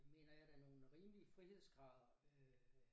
Mener jeg da nogle rimelige frihedsgrader øh